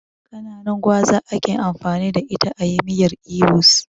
Kananun gwaza ake amfani da ita ayi miyar ibo's